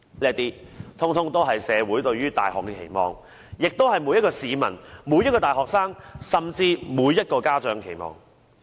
這些全也是社會對大學的期望，也是每一個市民、每一個大學生，甚至每一個家長的期望。